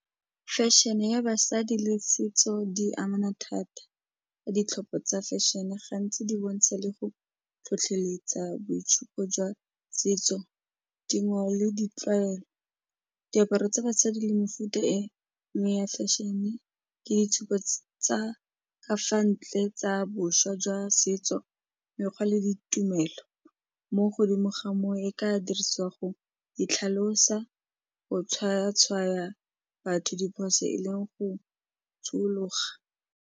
Fashion-e ya basadi le setso di amana thata ya ditlhopho tsa fashion-e, gantsi di bontsha le go tlhotlheletsa boitshupo jwa setso, dingwao le ditlwaelo. Diaparo tsa basadi le mefuta e mme ya fashion-e ke ditshupa tsa ka fa ntle tsa boswa jwa setso mekgwa le ditumelo mo godimo ga moo e ka dirisiwa go itlhalosa go tshwaya-tshwaya batho diphoso e leng go tshologa.